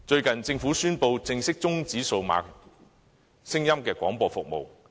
近日，政府宣布正式終止數碼聲音廣播服務。